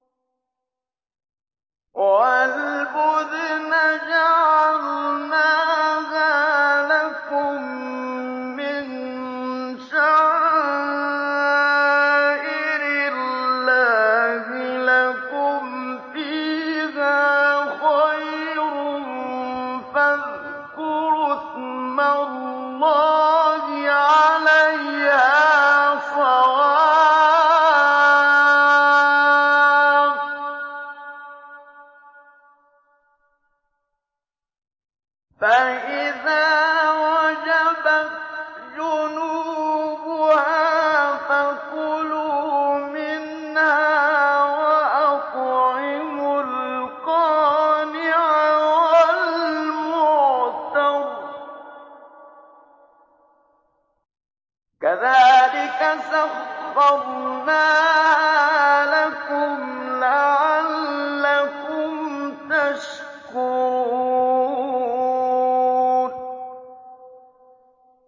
وَالْبُدْنَ جَعَلْنَاهَا لَكُم مِّن شَعَائِرِ اللَّهِ لَكُمْ فِيهَا خَيْرٌ ۖ فَاذْكُرُوا اسْمَ اللَّهِ عَلَيْهَا صَوَافَّ ۖ فَإِذَا وَجَبَتْ جُنُوبُهَا فَكُلُوا مِنْهَا وَأَطْعِمُوا الْقَانِعَ وَالْمُعْتَرَّ ۚ كَذَٰلِكَ سَخَّرْنَاهَا لَكُمْ لَعَلَّكُمْ تَشْكُرُونَ